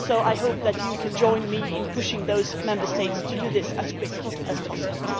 I hope Members can join me in pushing those Member States to do this as quickly as possible.